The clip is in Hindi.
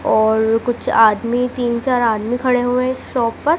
और कुछ आदमी तीन चार आदमी खड़े हुएं हैं एक शॉप पर।